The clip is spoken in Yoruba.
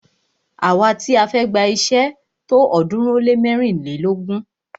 Àwa ti a fẹ́ gba iṣé tó ọ̀ọ́dúnrún ó lé mẹ́rìnlélógún.